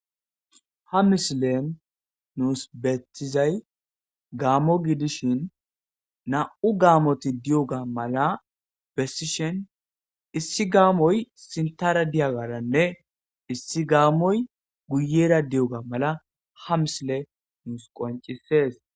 ha misile nuus betizay gaamo gidishin na7u gaamoti di7oga mala bessishen issi gaamoy sintara diyagaranne issi gaamoy guyera di7oga mala ha misile nuus qoncisees